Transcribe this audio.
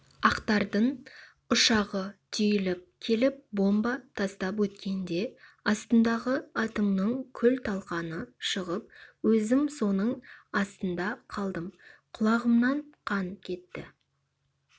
ақтардың ұшағы түйіліп келіп бомба тастап өткенде астымдағы атымның күл-талқаны шығып өзім соның астында қалдым құлағымнан қан кетті